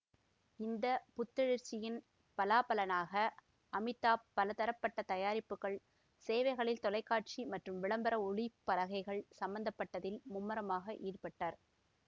இந்த புத்தெழுச்சியின் பலாபலனாக அமிதாப் பலதரப்பட்ட தயாரிப்புகள்சேவைகளில் தொலைக்காட்சி மற்றும் விளம்பர ஒளிப்பலகைகள் சம்பந்தப்பட்டதில் மும்முரமாக ஈடுபட்டார்